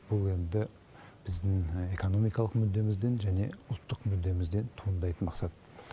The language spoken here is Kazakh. бұл енді біздің экономикалық мүддемізден және ұлттық мүддемізден туындайтын мақсат